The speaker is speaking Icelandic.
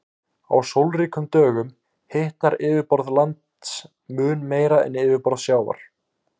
Á sólríkum dögum hitnar yfirborð lands mun meira en yfirborð sjávar.